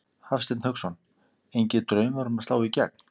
Hafsteinn Hauksson: Engir draumar um að slá í gegn?